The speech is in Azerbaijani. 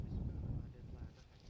Bəli, nəyə lazımdır xanım?